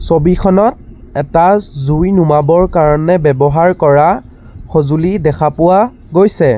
ছবিখনত এটা জুই নুমাবৰ কাৰণে ব্যৱহাৰ কৰা সঁজুলি দেখা পোৱা গৈছে।